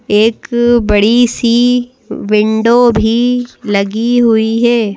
एक बड़ी सी विंडो भी लगी हुई है।